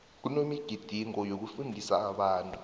kunemigidingo yokufundisa abantu